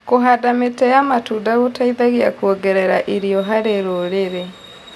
Kũhanda mĩtĩ ya matunda gũteithagia kuongerera irio harĩ rũrĩrĩ